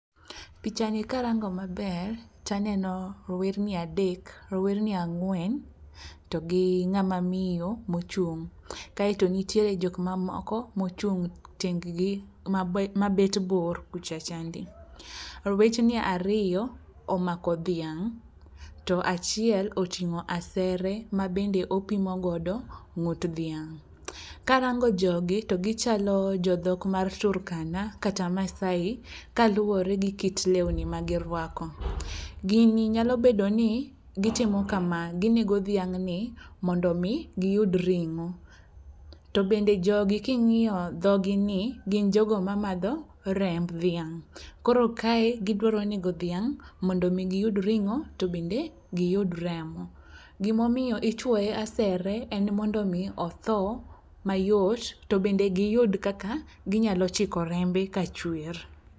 Pichani karango maber taneno rowerni ang'wen to gi ng'ama miyo mochung' kaeto nitiere jokmamoko mochung' tenggi mabet bor kuchachande. Rowechni ariyo omako dhiang' to achiel oting'o asere mabende opimogodo ng'ut dhiang'. Karango jogi to gichalo jodhok mar Turkana kata Maasai kaluwore gi kit lewni magirwako. Gini nyalo bedo ni gitimo kama, ginego dhiang'ni mondo omi giyud ring'o. To bende jogi king'iyo dhogini gin jogo mamadho remb dhiang'. Koro kae gidwaro nego dhiang' mondo omi giyud ring'o to bende remo. Gimomiyo ichwoye asere en mondo momi otho mayot to bende giyud kaka ginyalo chjiko rembe kachwer.